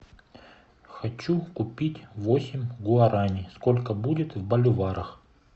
хочу купить восемь гуарани сколько будет в боливарах